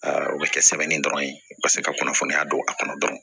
o bɛ kɛ sɛbɛnni dɔrɔn ye u ka se ka kunnafoniya don a kɔnɔ dɔrɔn